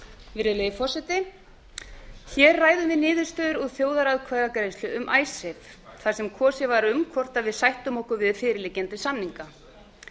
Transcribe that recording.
virðulegi forseti við ræðum niðurstöður úr þjóðaratkvæðagreiðslu um icesave þar sem kosið var um hvort við sættum okkur við fyrirliggjandi samninga